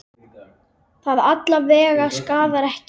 Það alla vega skaðar ekki.